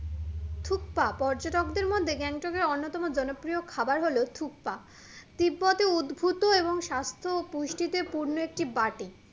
থুপ্পা পর্যটকদের মধ্যে গ্যাংটকের অন্যতম জনপ্রিয় খাবার হলো থুপ্পা তিব্বতে উদ্ভুত এবং সাস্থ ও পুষ্টিতে পূর্ণ একটি banting